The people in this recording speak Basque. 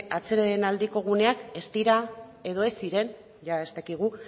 atsedenaldiko guneak ez dira edo ez ziren jada ez dakigu